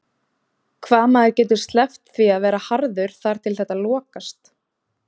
Hvaða maður getur sleppt því að verða harður þar til þetta lokast?